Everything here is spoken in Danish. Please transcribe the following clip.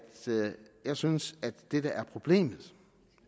jeg synes at det der er problemet